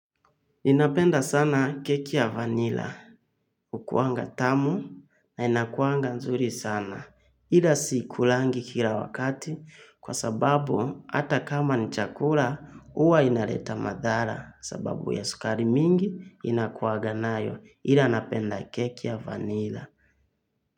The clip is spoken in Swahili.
Ninapenda sana keki ya vanila, ukuanga tamu na inakuanga nzuri sana. Ila siikulangi kila wakati kwa sababu hata kama ni chakula huwa inaleta madhara sababu ya sukari mingi inakuaga nayo. Ila napenda keki ya vanila.